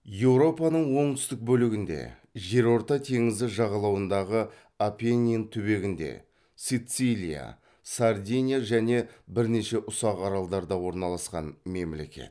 еуропаның оңтүстік бөлігінде жерорта теңізі жағалауындағы апеннин түбегінде сицилия сардиния және бірнеше ұсақ аралдарда орналасқан мемлекет